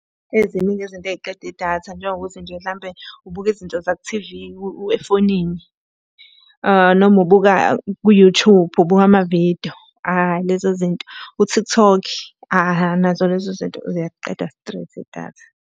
Eyi, ziningi izinto ey'qeda idatha njengokuthi nje hlampe ubuka izinto zaku-T_V efonini. Noma ubuka ku-YouTube, ubuka amavidiyo lezo zinto. U-TikTok nazo lezo zinto ziyaliqeda straight idatha.